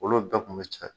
Olu bɛɛ kun bɛ cɛn